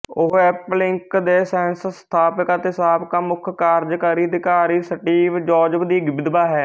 ਉਹ Apple Inc ਦੇ ਸਹਿਸੰਸਥਾਪਕ ਅਤੇ ਸਾਬਕਾ ਮੁੱਖ ਕਾਰਜਕਾਰੀ ਅਧਿਕਾਰੀ ਸਟੀਵ ਜੌਬਜ਼ ਦੀ ਵਿਧਵਾ ਹੈ